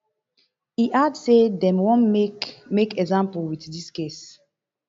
e add say dem wan make make example wit dis case